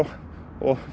og